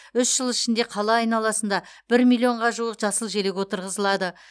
үш жыл ішінде қала айналасында бір миллионға жуық жасыл желек отырғызылады